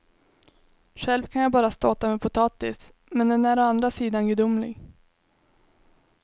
Själv kan jag bara ståta med potatis, men den är å andra sidan gudomlig.